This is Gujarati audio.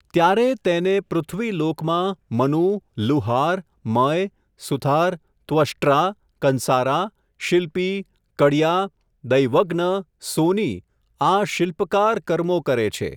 ત્યારે, તેને, પૃથ્વીલોકમાં, મનુ, લુહાર, મય, સુથાર, ત્વષ્ટ્રા, કંસારા, શિલ્પી, કડિયા, દૈવજ્ઞ, સોની, આ શિલ્પકાર કર્મો કરે છે.